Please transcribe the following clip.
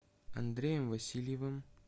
андреем васильевым